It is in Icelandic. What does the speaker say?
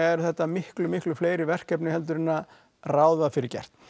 er þetta miklu miklu fleiri verkefni en ráð var fyrir gert